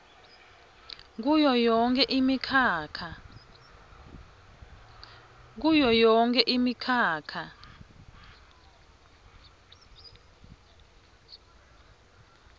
kuyo yonkhe imikhakha